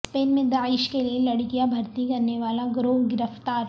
Spain میں داعش کے لئے لڑکیاں بھرتی کرنے والا گروہ گرفتار